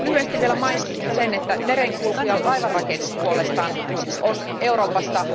Lyhyesti vielä mainitsisin sen, että merenkulku ja laivanrakennus puolestaan on Euroopassa